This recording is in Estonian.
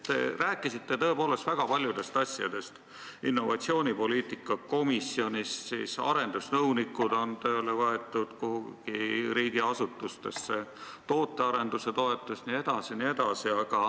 Te rääkisite tõepoolest väga paljudest asjadest: innovatsioonipoliitika komisjonist, sellest, et arendusnõunikud on võetud kuhugi riigiasutustesse tööle, tootearenduse toetusest jne.